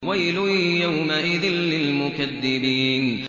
وَيْلٌ يَوْمَئِذٍ لِّلْمُكَذِّبِينَ